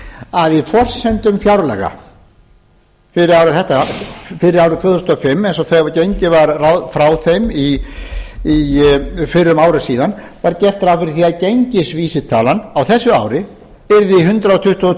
að í forsendum fjárlaga fyrir árið tvö þúsund og fimm eins og gengið var frá þeim fyrir um ári síðan var gert rá fyrir því að gengisvísitalan á þessu ári yrði hundrað tuttugu og tvö